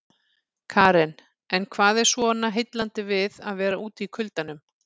Karen: En hvað er svona heillandi við að vera úti í kuldanum?